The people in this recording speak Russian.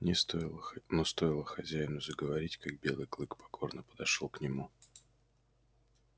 не стоило но стоило хозяину заговорить как белый клык покорно подошёл к нему